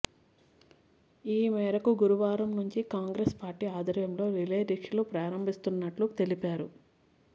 ఈమేరకు గురువారం నుంచి కాంగ్రెస్ పార్టీ ఆధ్వర్యంలో రిలేదీక్షలు ప్రారంభిస్తున్నట్టు తెలిపారు